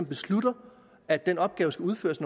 beslutter at den opgave skal udføres